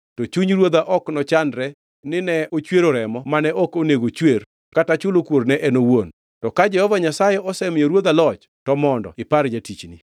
to chuny ruodha ok nochandre nine ochwero remo mane ok onego chwer kata chulo kuor ne en wuon. To ka Jehova Nyasaye osemiyo ruodha loch to mondo ipar jatichni.”